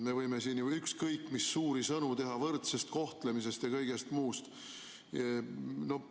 Me võime siin ju ükskõik mis suuri sõnu teha võrdsest kohtlemisest ja kõigest muust.